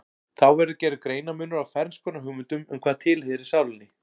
Þá verður gerður greinarmunur á ferns konar hugmyndum um hvað tilheyrir sálinni.